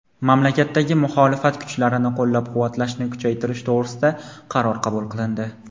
mamlakatdagi muxolifat kuchlarini qo‘llab-quvvatlashni kuchaytirish to‘g‘risida qaror qabul qilindi.